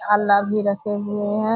आला भी रखे हुए है।